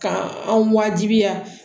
Ka anw wajibiya